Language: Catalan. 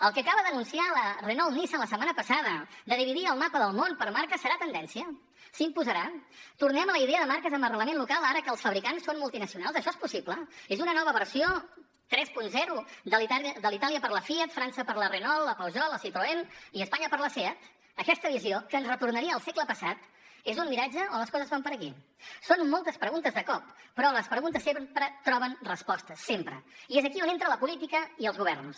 el que acaba d’anunciar la renault nissan la setmana passada de dividir el mapa del món per marca serà tendència s’imposarà tornem a la idea de marques amb arrelament local ara que els fabricants són multinacionals això és possible és una nova versió trenta de la itàlia per a la fiat frança per a la renault la peugeot la citroën i espanya per a la seat aquesta visió que ens retornaria al segle passat és un miratge o les coses van per aquí són moltes preguntes de cop però les preguntes sempre troben resposta sempre i és aquí on entra la política i els governs